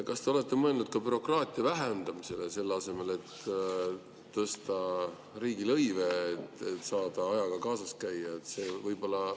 Kas te olete mõelnud ka bürokraatia vähendamisele selle asemel, et tõsta riigilõive, et saada ajaga kaasas käia?